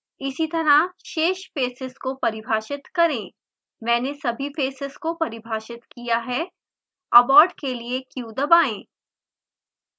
इसीतरह शेष फेसेस को परिभाषित करें मैंने सभी फेसेस को परिभाषित किया है abort के लिए q दबाएँ